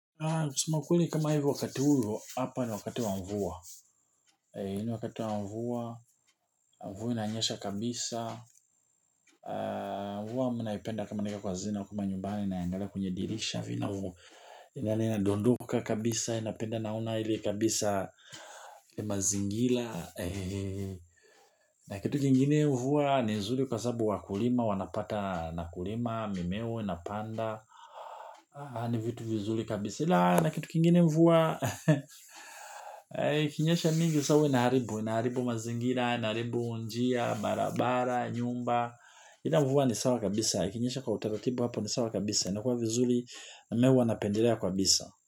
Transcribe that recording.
Kusema kweli kama hivo wakati huyu, hapa ni wakati wa mvua. Hii ni wakati wa mvua, mvua inanyesha kabisa. Mvua mi naipenda kama niko kwa hazina kule nyumbani naangala kwenye dirisha vinavo. Inadondoka kabisa, napenda naona ili kabisa ni mazingira. Na kitu kingine mvua, ni zuri kwa sababu wakulima, wanapata na kulima, mimeo, inapanda. Haya ni vitu vizuri kabisa. Silaha na kitu kingine mvua ikinyesha mingi sa huwa inaharibu, inaharibu mazingira inaharibu njia, barabara nyumba, ila mvua ni sawa kabisa ikinyesha kwa utaratibu hapa ni sawa kabisa inakua vizuri ambaye huwa napendelea kabisa.